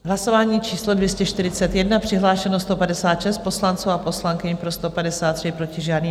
Hlasování číslo 241, přihlášeno 156 poslanců a poslankyň, pro 153, proti žádný.